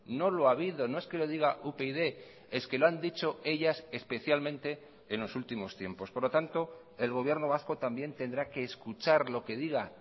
no lo ha habido no es que lo diga upyd es que lo han dicho ellas especialmente en los últimos tiempos por lo tanto el gobierno vasco también tendrá que escuchar lo que diga